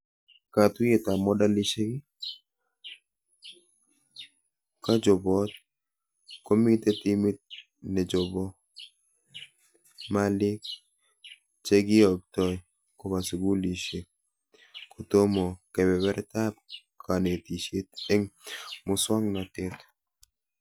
Katuyetab modelishek; kachobet komite timit nechobe malik chekiyotoi koba skulishek kotomo kebebertab konetishet eng muswonotet